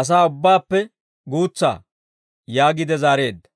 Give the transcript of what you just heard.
asaa ubbaappe guutsa» yaagiide zaareedda.